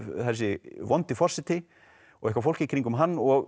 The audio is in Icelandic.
þessi vondi forseti og eitthvað fólk í kringum hann og